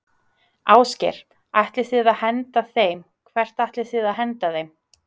Ásgeir: Ætlið þið að henda þeim, hvert ætlið þið að henda þeim?